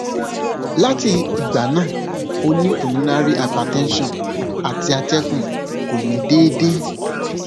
lati igba naa o ni pulmonary hypertension ati atẹgun ko ni deede